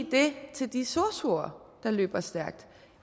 det til de sosuer der løber stærkt